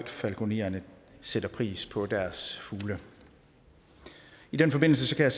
falkonererne sætter pris på deres fugle i den forbindelse kan